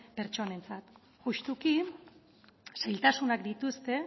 pertsonentzat justuki zailtasunak dituzte